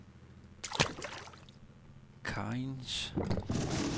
Cairns